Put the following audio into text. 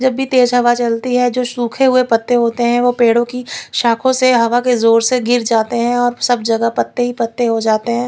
जब भी तेज हवा चलती है जो सूखे हुए पत्ते होते है वो पेड़ो कि शाखों से और हवा के जोर से गिर जाते है और सब जहग पत्ते ही पत्ते हो जाते है।